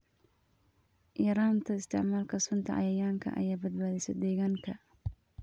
Yaraynta isticmaalka sunta cayayaanka ayaa badbaadisa deegaanka.